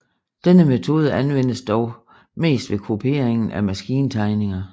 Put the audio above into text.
Denne metode anvendes dog mest ved kopieringen af maskintegninger